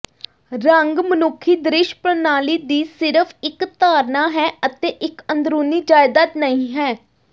ਰੰਗ ਮਨੁੱਖੀ ਦ੍ਰਿਸ਼ ਪ੍ਰਣਾਲੀ ਦੀ ਸਿਰਫ ਇਕ ਧਾਰਨਾ ਹੈ ਅਤੇ ਇਕ ਅੰਦਰੂਨੀ ਜਾਇਦਾਦ ਨਹੀਂ ਹੈ